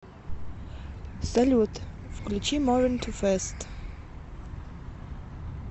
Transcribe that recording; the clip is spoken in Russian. салют включи мовин ту фэст